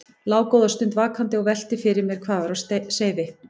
Lá góða stund vakandi og velti fyrir mér hvað væri á seyði.